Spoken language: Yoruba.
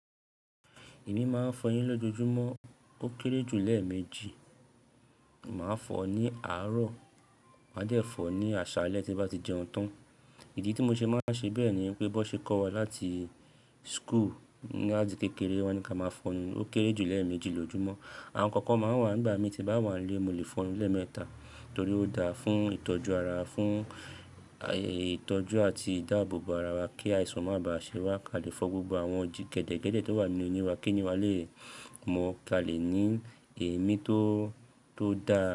Èmi máa ń fọ eyín lójoojúmọ́ ó kéré jù lẹ́ẹ̀ méjì. Màá fọ̀ ọ́ ní àárọ̀, màá de fọ̀ ọ́ ní àṣálẹ́ tí n bá ti jẹun tán. Ìdí tí mo ṣe máa n ṣe bẹ́ẹ̀ ni pé bó ṣe kọ́ wa láti school ní àtí kékeré wọ́n ní kí a máa ń fọọnu ó kéré jù lẹ́ẹ̀ méjì lójoojúmọ́. Àwọn kankan máa wà n gbà mii tí n bá wà n lé mo lè fọnu lẹ́ẹ̀ mẹ́ta torí ó da fún ìtọ́jú ara, fún ìtọ́jú àti ìdáàbòbò ara wa kí àìsàn máa ba à ṣẹwá kí a lè fọ gbogbo àwọn oji gẹdẹgẹdẹ tó wà nínú ẹni wa kí èni wá lè mọ̀ kí a lè ní èémí tó, tó dáa.